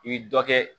I bɛ dɔ kɛ